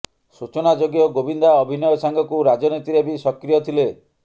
ସୂଚନାଯୋଗ୍ୟ ଗୋବିନ୍ଦା ଅଭିନୟ ସାଙ୍ଗକୁ ରାଜନୀତିରେ ବି ସକ୍ରିୟ ଥିଲେ